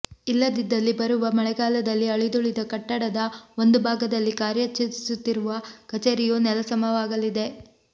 ಇಲ್ಲದಿದ್ದಲ್ಲಿ ಬರುವ ಮಳೆಗಾಲದಲ್ಲಿ ಅಳಿದೂಳಿದ ಕಟ್ಟಡದ ಒಂದು ಭಾಗದಲ್ಲಿ ಕಾರ್ಯಚರಿಸುತ್ತಿರುವ ಕಚೇರಿಯು ನೆಲಸಮವಾಗಲಿದೆ